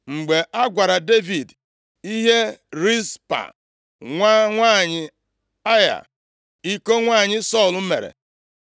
Mgbe a gwara Devid ihe Rizpa, nwa nwanyị Aịa, iko nwanyị Sọl mere,